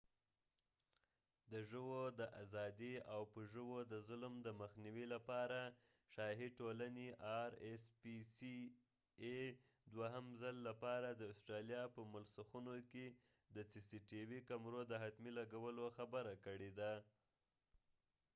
د ژوو د آزادي او په ژوو د ظلم دمخنیوې لپاره شاهي ټولنې ار اس پی سی ای rspca دوهم څل لپاره د استرالیا په مسلخونو کې د د سی سی ټی وي cctvکمرو د حتمی لګولو خبره کړي ده